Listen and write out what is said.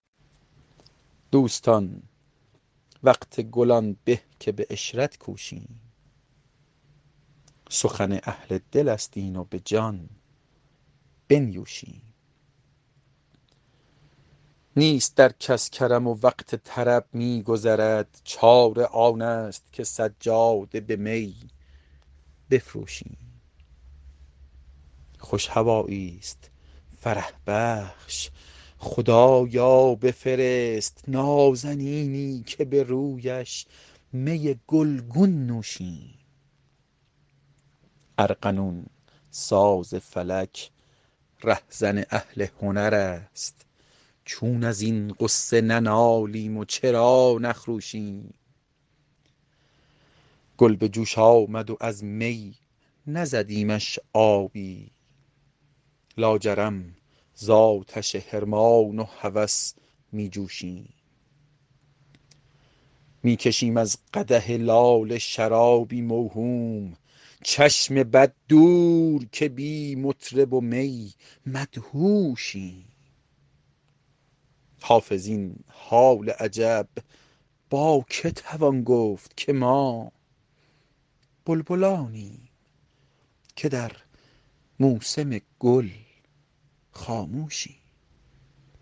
دوستان وقت گل آن به که به عشرت کوشیم سخن اهل دل است این و به جان بنیوشیم نیست در کس کرم و وقت طرب می گذرد چاره آن است که سجاده به می بفروشیم خوش هوایی ست فرح بخش خدایا بفرست نازنینی که به رویش می گل گون نوشیم ارغنون ساز فلک ره زن اهل هنر است چون از این غصه ننالیم و چرا نخروشیم گل به جوش آمد و از می نزدیمش آبی لاجرم زآتش حرمان و هوس می جوشیم می کشیم از قدح لاله شرابی موهوم چشم بد دور که بی مطرب و می مدهوشیم حافظ این حال عجب با که توان گفت که ما بلبلانیم که در موسم گل خاموشیم